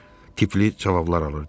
tipli cavablar alırdım.